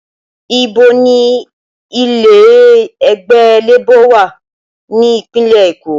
Ibo ni ilé ẹgbẹ́ Labour wà ní ìpínlẹ̀ Èkó?